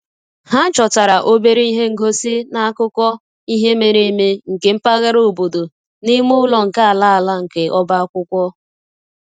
Ha chọtara obere ihe ngosi na akụkọ ihe mere eme nke mpaghara obodo n'ime ụlọ nke ala ala nke ọba akwụkwọ